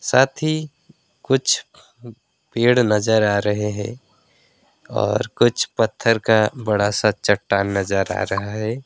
साथी कुछ पेड़ नजर आ रहे हैं और कुछ पत्थर का बड़ा सा चट्टान नजर आ रहा है।